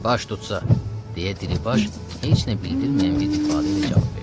Baş tutsa, deyə Diribaş heç nə bildirməyən bir ifadə ilə cavab verdi.